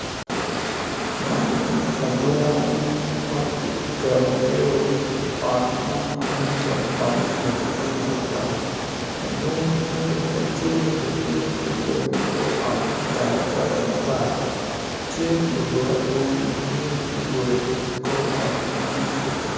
Man adungo ma giketogio i ot mo ma nen calo ot me gwoko jami me tekwaro adungo tye wa cale bene tye ma ki goyo i kor ot i karatac matar cal lugo adungo be tye ma ki goyogi i kor ot man